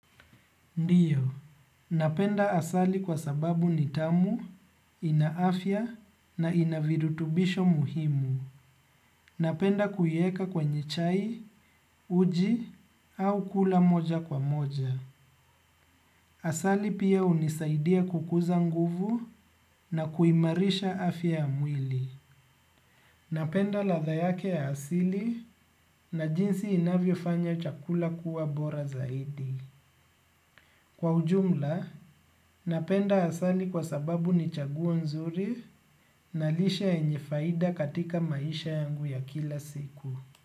Ndio, napenda asali kwa sababu ni tamu, ina afya na ina virutubisho muhimu. Napenda kuieka kwenye chai, uji au kula moja kwa moja. Asali pia hunisaidia kukuza nguvu na kuimarisha afya ya mwili. Napenda latha yake ya asili na jinsi inavyofanya chakula kuwa bora zaidi. Kwa ujumla, napenda asali kwa sababu ni chaguo nzuri na lishe yenye faida katika maisha yangu ya kila siku.